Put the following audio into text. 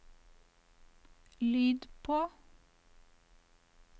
lyd på